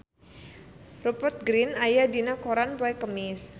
Rupert Grin aya dina koran poe Kemis